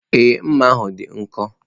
Ee, mma ahụ dị nkọ.